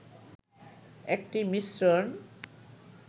একটি মিশ্রণ